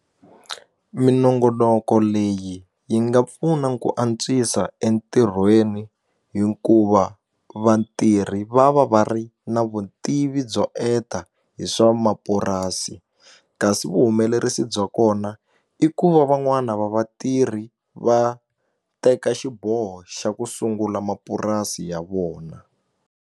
Minongonoko leyi yi nga pfuna ku antswisa entirhweni hikuva vatirhi va va va ri na vutivi byo enta hi swa mapurasi kasi vuhumelerisi bya kona i ku va van'wani va vatirhi va teka xiboho xa ku sungula mapurasi ya vona.